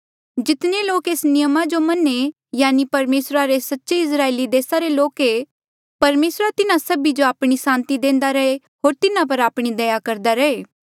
जितने लोक एस नियमा जो मन्हें यानि परमेसरा रे सच्चे इस्राएली लोक ऐें परमेसर तिन्हा सभी जो आपणी सांति देंदा रैहे होर तिन्हा पर आपणी दया करदा रहे